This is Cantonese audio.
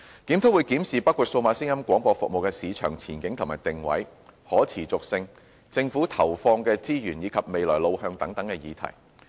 檢討會檢視包括數碼廣播服務的市場前景和定位、可持續性、政府投放的資源以及未來路向等議題。